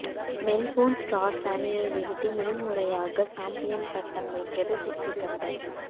Melbourne Stars அணியை வீழ்த்தி முதன்முறையாக சாம்பியன் பட்டம் வென்றது சிட்னி தண்டர்